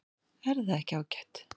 Er það ekki ágætt?